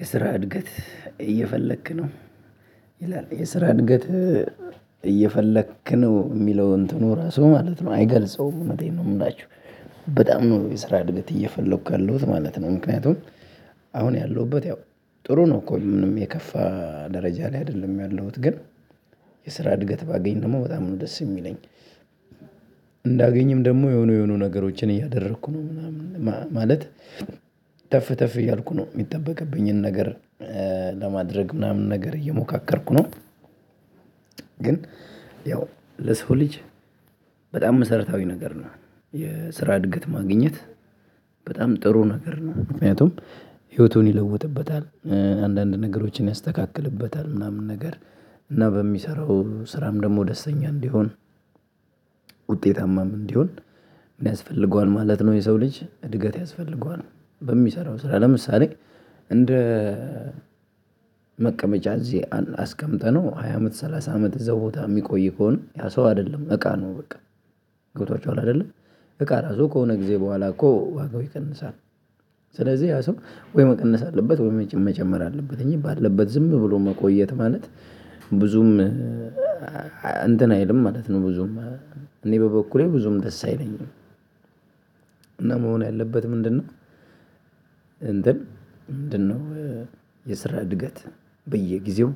የስራ እድገት እየፈለክ ነው? ይላል የስራ እድገት እየፈለክ ነው የሚለውን እንትኑ ራሱ ማለት ነው አይገልጸውም እውነቴን ነው የምላችሁ በጣም ነው የስራ እድገት እየፈለኩ ያለሁት ማለት ነው ምክንያቱም አሁን ያለሁበት ያው ጥሩ ነው እኮ ምንም የከፋ ደረጃ ላይ አይደለም ያለሁት ግን የስራ እድገት ባገኝ ደግሞ በጣም ነው ደስ የሚለኝ ደግሞ የሆኑ የሆኑ ነገሮችን እያደረኩ ነው ምናምን ማለት ተፍ ተፍ እያልኩ ነው የሚጠበቅብኝን ነገር ለማድረግ ምናምን ነገር እየሞካከርኩ ነው ግን ያው ለሰው ልጅ በጣም መሰረታዊ ነገር ነው የስራ እድገት ማግኘት በጣም ጥሩ ነገር ነው ምክንያቱም ህይወቱን ይለውጥበታል አንዳንድ ነገሮችን ያስተካክልበታል ምናምን ነገር እና በሚሰራው ስራም ደግሞ ደስተኛ እንዲሆን ውጤታማም እንዲሆን ምን ያስፈልገዋል ማለት ነው የሰው ልጅ እድገት ያስፈልገዋል በሚሰራው ስራ ለምሳሌ እንደ መቀመጫ እዚህ አስቀምጠነው ሃያ አመት ሰላሳ አመት እዛው ቦታ የሚቆይ ከሆነ ያ ሰው አይደለም እቃ ነው በቃ ገብቷችኋል አይደለ እቃ ራሱ ከሆነ ጊዜ በኋላ እኮ ዋጋው ይቀንሳል ስለዚህ ያ ሰው ወይ መቀነስ አለበት ወይ መጨመር አለበት እኔ ባለበት ዝም ብሎ መቆየት ማለት ብዙም እንትን አይልም ማለት ነው ብዙም እኔ በበኩሌ ብዙም ደስ አይለኝም እና መሆን ያለበት ምንድነው እንትን ምንድነው የስራ እድገት በየጊዜው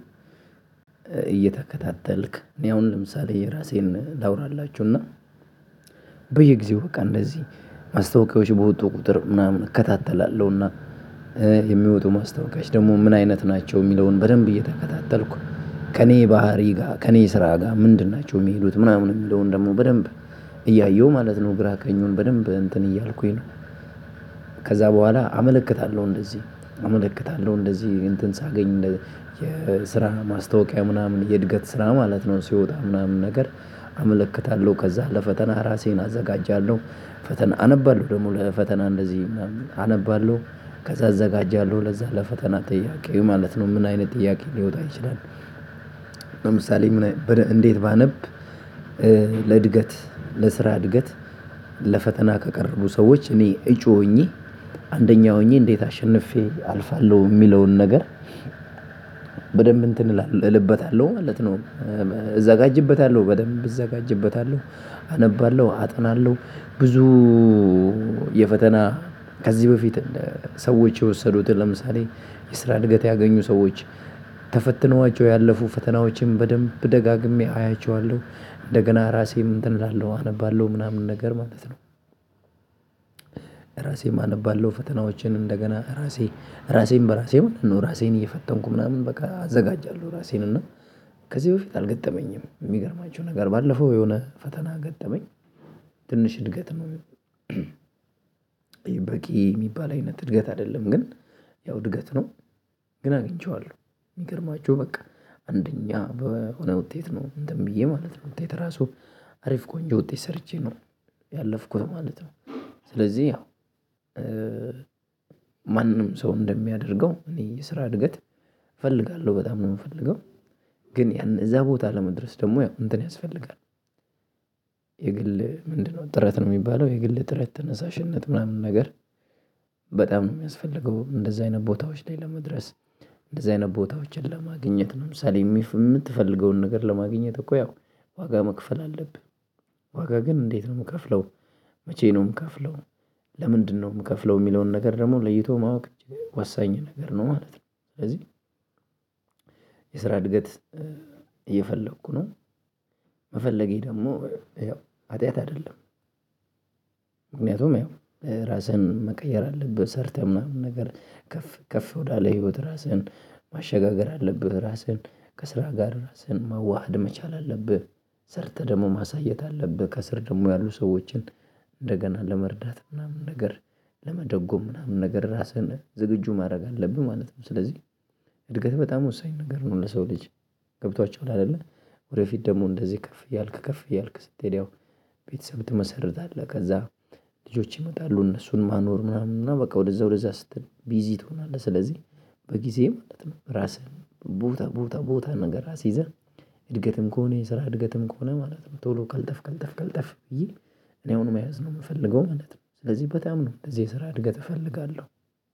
እየተከታተልክ እኔ አሁን ለምሳሌ የራሴን ላውራላችሁና በየጊዜው በቃ እንደዚህ ማስታወቂያዎች በወጡ ቁጥር ምናምን እከታተላለሁና የሚወጡ ማስታወቂያዎች ደግሞ ምን አይነት ናቸው የሚለውን በደንብ እየተከታተልኩ ከእኔ ባህሪ ጋር ከእኔ ስራ ጋር ምንድን ናቸው የሚሄዱት ምናምን የሚለውን ደግሞ በደንብ እያየሁ ማለት ነው ግራ ቀኙን በደንብ እንትን እያልኩኝ ነው ከዛ በኋላ አመለክታለሁ እንደዚህ እመለከታለሁ እንደዚህ እንትን ሳገኝ የስራ ማስታወቂያ ምናምን የእድገት ስራ ማለት ነው ሲወጣ ምናምን ነገር አመለክታለሁ ከዛ ለፈተና ራሴን አዘጋጃለሁ ፈተና አነባለሁ ደግሞ ለፈተና እንደዚህ ምናምን አነባለሁ ከዛ እዘጋጃለሁ ለዛ ለፈተና ጥያቄው ማለት ነው ምን አይነት ጥያቄ ሊወጣ ይችላል ለምሳሌ ምን እንዴት ባነብ ለእድገት ለስራ እድገት ለፈተና ከቀረቡ ሰዎች እኔ እጩ ሆኜ አንደኛ ሆኜ እንዴት አሸንፌ አልፋለሁ የሚለውን ነገር በደንብ እንትን እልበታለሁ ማለት ነው እዘጋጅበታለሁ በደንብ እዘጋጅበታለሁ አነባለሁ አጠናለሁ ብዙ የፈተና ከዚህ በፊት ሰዎች የወሰዱትን ለምሳሌ የስራ እድገት ያገኙ ሰዎች ያለፉ ፈተናዎችን በደንብ ደጋግሜ አያቸዋለሁ እንደገና ራሴም እንትን እላለሁ አነባለሁ ምናምን ነገር ማለት ነው ራሴም አነባለሁ ፈተናዎችን እንደገና ራሴ ራሴን በራሴ ማለት ነው ራሴን እየፈተንኩ ምናምን በቃ አዘጋጃለሁ ራሴን እና ከዚህ በፊት አልገጠመኝም የሚገርማቸው ነገር ባለፈው የሆነ ፈተና ገጠመኝ ትንሽ እድገት ነው የሚባል አይነት እድገት አይደለም ግን ያው እድገት ነው ግን አግኝቼዋለሁ የሚገርማቸው በቃ አንደኛ በሆነ ውጤት ነው እንትን ብዬ ማለት ነው ውጤት ራሱ አሪፍ ቆንጆ ውጤት ሰርቼ ነው ያለፍኩት ማለት ነው ስለዚህ ያው ማንም ሰው እንደሚያደርገው እኔ የስራ እድገት እፈልጋለሁ በጣም ነው የምፈልገው ግን ያን እዛ ቦታ ለመድረስ ደግሞ ያው እንትን ያስፈልጋል የግል ምንድነው ጥረት ነው የሚባለው የግል ጥረት ተነሳሽነት ምናምን ነገር በጣም ነው የሚያስፈልገው እንደዛ አይነት ቦታዎች ላይ ለመድረስ እንደዛ አይነት ቦታዎችን ለማግኘት ነው ለምሳሌ የምትፈልገውን ነገር ለማግኘት እኮ ያው ዋጋ መክፈል አለብህ ዋጋ ግን እንዴት ነው የምከፍለው መቼ ነው የምከፍለው ለምንድነው የምከፍለው የሚለውን ነገር ደግሞ ለይቶ ማወቅ ወሳኝ ነገር ነው ማለት ነው ስለዚህ የስራ እድገት እየፈለኩ ነው መፈለጌ ደግሞ ያው ሀጢያት አይደለም ምክንያቱም ያው ራስህን መቀየር አለብህ ሰርተህ ምናምን ነገር ከፍ ከፍ ወዳለ ህይወት ራስህን ማሸጋገር አለብህ ራስህን ከስራ ጋር ራስህን ማዋሃድ መቻል አለብህ ሰርተህ ደግሞ ማሳየት አለብህ ከስር ደግሞ ያሉ ሰዎችን እንደገና ለመርዳት ምናምን ነገር ለመደጎም ምናምን ነገር ራስህን ዝግጁ ማድረግ አለብን ማለት ነው ስለዚህ እድገት በጣም ወሳኝ ነገር ነው ለሰው ልጅ ገብቷችኋል አይደለ ወደፊት ደግሞ እንደዚህ ከፍ እያልክ ከፍ እያልክ ስትሄድ ያው ቤተሰብ ትመሰርታለህ ከዛ ልጆች ይመጣሉ እነሱን ማኖር ምናምን እና በቃ ወደዛ ወደዛ ስትል ቢዚ ትሆናለህ ስለዚህ በጊዜ ማለት ነው ራስህን ቦታ ቦታ ቦታ ነገር አስይዘህ እድገትም ከሆነ የስራ እድገትም ከሆነ ማለት ነው ቶሎ ቀልጠፍ ቀልጠፍ ቀልጠፍ ብዬ እኔ አሁን መያዝ ነው የምፈልገው ማለት ነው ስለዚህ በጣም ነው እንደዚህ የስራ እድገት እፈልጋለሁ